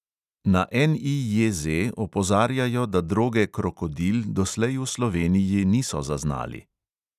Na NEJZ opozarjajo, da droge krokodil doslej v sloveniji niso zaznali.